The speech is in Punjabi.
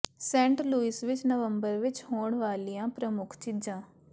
ਸੇਂਟ ਲੁਈਸ ਵਿਚ ਨਵੰਬਰ ਵਿਚ ਹੋਣ ਵਾਲੀਆਂ ਪ੍ਰਮੁੱਖ ਚੀਜ਼ਾਂ